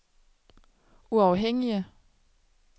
uafhængige